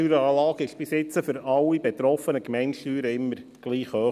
Die Steueranlage war bisher für alle betroffenen Gemeindesteuern immer gleich hoch.